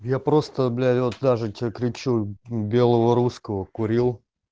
я просто блять вот даже тебе кричу белого русского курил